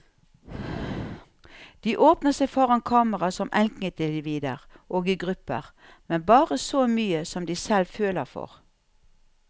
De åpner seg foran kamera som enkeltindivider og i grupper, men bare så mye de selv føler for.